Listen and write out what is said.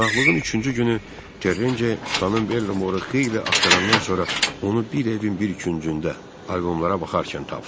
Qonaqlığın üçüncü günü Terecini xanım Bellamoru xeyli axtarandan sonra onu bir evin bir küncündə albomlara baxarkən tapdı.